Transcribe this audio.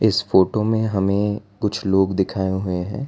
इस फोटो में हमें कुछ लोग दिखाए हुए हैं।